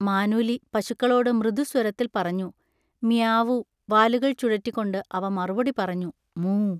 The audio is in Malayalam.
മാനൂലി പശുക്കളോട് മൃദുസ്വരത്തിൽ പറഞ്ഞു: മിയാവൂ വാലുകൾ ചുഴറ്റിക്കൊണ്ട് അവ മറുപടി പറഞ്ഞു:മൂ